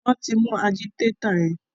wón tí mú Ajídétà yén.